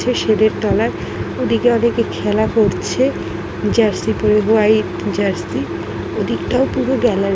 সিঁড়ির তলায় ওদিকে ওদিকে খেলা করছে জার্সি পরে হোয়াট জার্সি ওদিকটাও পুরো গাল--